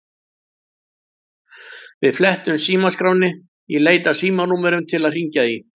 Við flettum símaskránni í leit að símanúmerum til að hringja í.